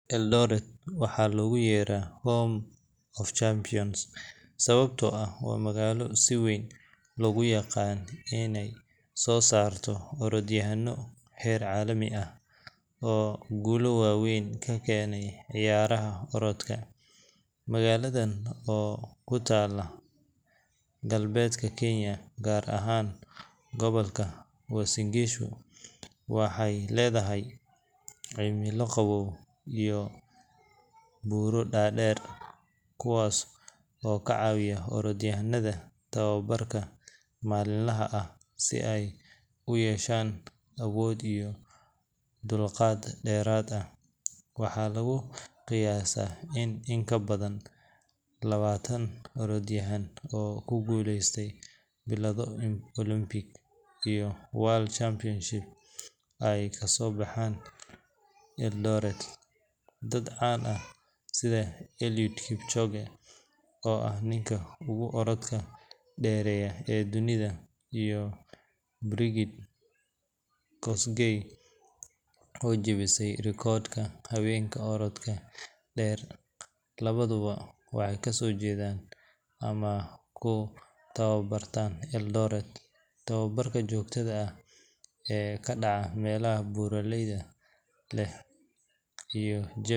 Eldoret waxaa loogu yeeraa Home of Champions sababtoo ah waa magaalo si weyn loogu yaqaan inay soo saarto orodyahanno heer caalami ah oo guulo waaweyn ka keenay ciyaaraha orodka. Magaaladan oo ku taalla galbeedka Kenya, gaar ahaan gobolka Uasin Gishu, waxay leedahay cimilo qabow iyo buuro dhaadheer, kuwaas oo ka caawiya orodyahannada tababarka maalinlaha ah si ay u yeeshaan awood iyo dulqaad dheeraad ah. Waxaa lagu qiyaasaa in in ka badan labaatan orodyahan oo ku guuleystay bilado Olympic iyo World Championships ay kasoo baxeen Eldoret. Dad caan ah sida Eliud Kipchoge, oo ah ninka ugu orodka dheereeya ee dunida, iyo Brigid Kosgei, oo jebisay rikoodhka haweenka orodka dheer, labaduba waxay kasoo jeedaan ama ku tababartaan Eldoret. Tababarka joogtada ah ee ka dhaca meelaha buuraha leh iyo jawi.